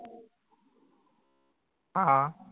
हां